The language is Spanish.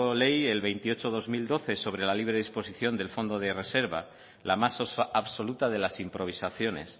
ley el veintiocho barra dos mil doce sobre la libre disposición del fondo de reserva la más absoluta de las improvisaciones